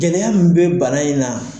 Gɛlɛya min bɛ bana in na.